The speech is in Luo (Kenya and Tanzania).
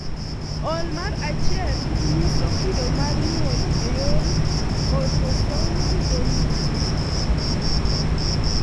OI mar 1 nyiso kido mar nyuol e yor autosomal dominant.